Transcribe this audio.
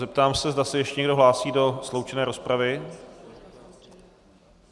Zeptám se, zda se ještě někdo hlásí do sloučené rozpravy.